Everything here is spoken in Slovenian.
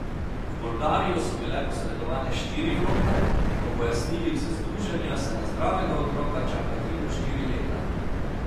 V Bolgarijo so bile posredovane štiri vloge, po pojasnilih z združenja se na zdravega otroka čaka tri do štiri leta.